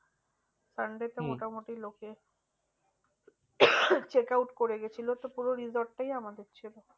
sunday তে মোটামুটি লোকে check out করে গিয়েছিলো। তো পুরো resort টাই আমাদের ছিল।